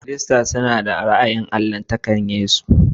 Kiristanci, suna da ra'ayi gama gari game da allahntakar Yesu Kiristi.